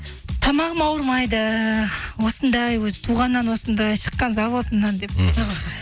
тамағым ауырмайды осындай өзі туғаннан осындай шыққан заводымнан